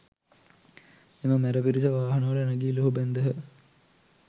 එම මැර පිරිස වාහනවල නැගී ලුහුබැන්දහ